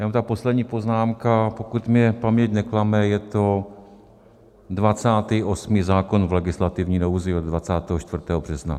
Jenom ta poslední poznámka, pokud mě paměť neklame, je to 28. zákon v legislativní nouzi od 24. března.